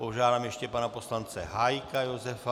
Požádám ještě pana poslance Hájka Josefa.